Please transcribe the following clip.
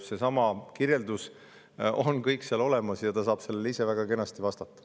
Seesama kirjeldus on kõik seal olemas ja ta saab selle kohta ise väga kenasti vastata.